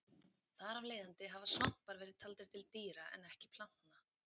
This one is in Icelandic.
Þar af leiðandi hafa svampar verið taldir til dýra en ekki plantna.